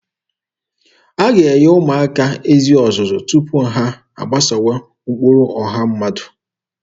A ga-enye ụmụaka ezi ọzụzụ tupu ha agbasowa ụkpụrụ ọha mmadụ.